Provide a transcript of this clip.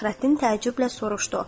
Fəxrəddin təəccüblə soruşdu: